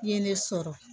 I ye ne sɔrɔ